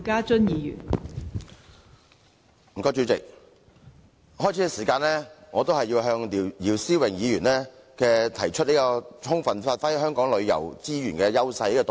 代理主席，首先，我要多謝姚思榮議員提出"充分發揮本地旅遊資源的優勢"的議案。